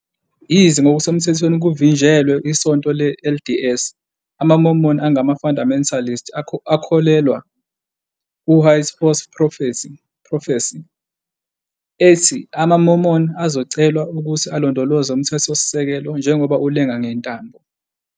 Yize ngokusemthethweni kuvinjelwe iSonto le-LDS, amaMormon angama-fundamentalist akholelwa ku- White Horse Prophecy, ethi amaMormon azocelwa ukuthi alondoloze uMthethosisekelo njengoba ulenga "ngentambo".